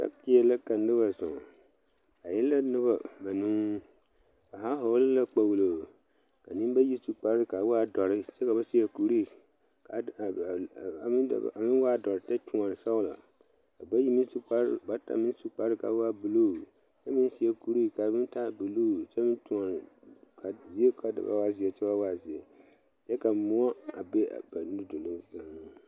Mɔtori la a noba zɔɔ ba e la.noba banuu ka nenbayi su kpare kaa waa dɔre kyɛ ka ba seɛ kuri kaa waa dɔre kyɛ kyuoni sɔgelɔ ka bayi bata meŋ su kpar kaa waa buluu kyɛ meŋ seɛ kuree kaa meŋ taa buluu ka waa zeɛnkyɛ ka moɔ be ba nu duluŋ seŋ